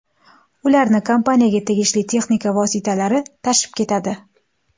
Ularni kompaniyaga tegishli texnika vositalari tashib ketadi.